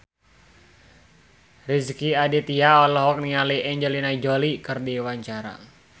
Rezky Aditya olohok ningali Angelina Jolie keur diwawancara